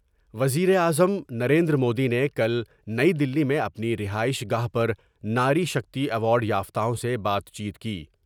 وزیر اعظم نریندرمودی نے کل نئی دلی میں اپنی رہائش گاہ پر ناری شکتی ایوارڈ یافتاؤں سے بات چیت کی ۔